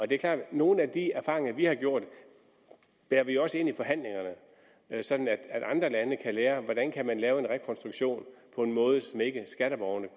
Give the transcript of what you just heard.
det er klart at nogle af de erfaringer vi har gjort bærer vi også med ind i forhandlingerne sådan at andre lande kan lære hvordan man kan lave en rekonstruktion på en måde så skatteborgerne